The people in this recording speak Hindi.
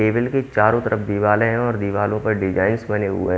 टेबल के चारों तरफ दीवाले हैं और दीवालों पर डिजााइंस बने हुए--